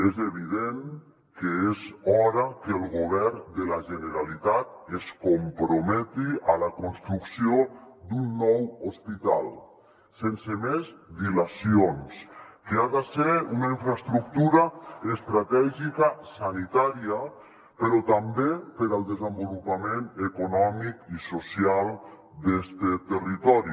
és evident que és hora que el govern de la generalitat es comprometi a la construcció d’un nou hospital sense més dila·cions que ha de ser una infraestructura estratègica sanitària però també per al desenvolupament econòmic i social d’este territori